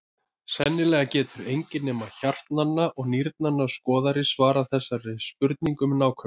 Sennilega getur enginn nema hjartnanna og nýrnanna skoðari svarað þessari spurningu með nákvæmni.